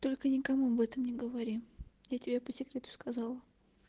только никому об этом не говори я тебе по секрету сказала